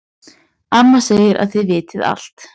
Amma segir að þið vitið allt.